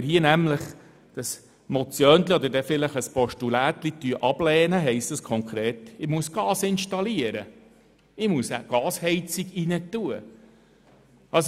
Wird dieses «Motiöndli» oder vielleicht eben das «Postulätli» abgelehnt, bedeutet dies, dass ich Gasheizungen installieren muss.